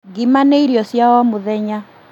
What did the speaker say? Ngima nĩ irio cia o mũthenya